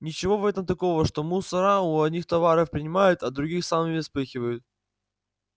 ничего в этом такого что мусора у одних товар принимают а другим сами спихивают